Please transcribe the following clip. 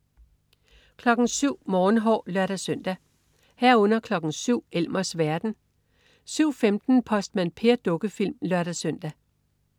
07.00 Morgenhår (lør-søn) 07.00 Elmers verden (lør-søn) 07.15 Postmand Per. Dukkefilm (lør-søn)